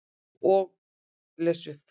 Og les upp.